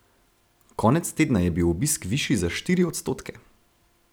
Konec tedna je bil obisk višji za štiri odstotke.